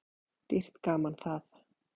Dýrt gaman það.